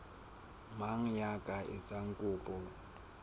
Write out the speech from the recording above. mang ya ka etsang kopo